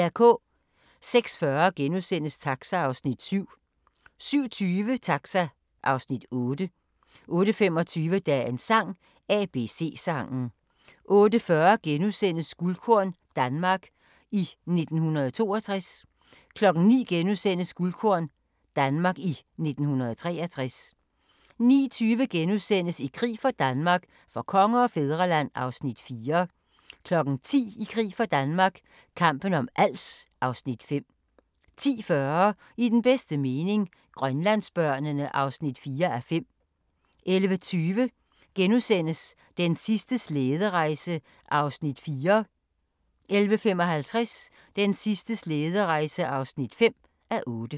06:40: Taxa (Afs. 7)* 07:20: Taxa (Afs. 8) 08:25: Dagens sang: ABC-sangen 08:40: Guldkorn - Danmark i 1962 * 09:00: Guldkorn - Danmark i 1963 * 09:20: I krig for Danmark - for konge og fædreland (Afs. 4)* 10:00: I krig for Danmark – kampen om Als (Afs. 5) 10:40: I den bedste mening – Grønlandsbørnene (4:5) 11:20: Den sidste slæderejse (4:8)* 11:55: Den sidste slæderejse (5:8)